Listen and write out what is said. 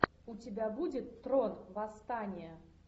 у тебя будет трон восстание